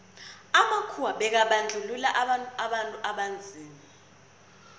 amakhuwa bekabandluua abantu abanzima